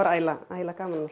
ægilega ægilega gaman